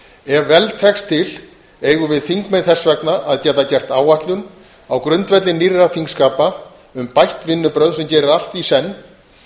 ef vel tekst til eigum við þingmenn þess vegna að geta gert áætlun á grundvelli nýrra þingskapa um bætt vinnubrögð sem gerir allt í senn